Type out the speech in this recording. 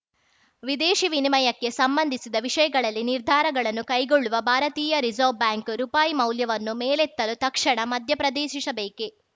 ವಿದೇಶಿ ವಿನಿಮಯಕ್ಕೆ ಸಂಬಂಧಿಸಿದ ವಿಷಯಗಳಲ್ಲಿ ನಿರ್ಧಾರಗಳನ್ನು ಕೈಗೊಳ್ಳುವ ಭಾರತೀಯ ರಿಸರ್ವ್ ಬ್ಯಾಂಕ್‌ ಆರ್‌ಬಿಐ ರುಪಾಯಿ ಮೌಲ್ಯವನ್ನು ಮೇಲೆತ್ತಲು ತಕ್ಷಣ ಮಧ್ಯಪ್ರದೇಶಿಸಬೇಕೆ